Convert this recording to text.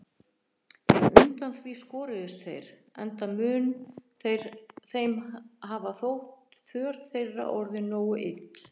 En undan því skoruðust þeir, enda mun þeim hafa þótt för þeirra orðin nógu ill.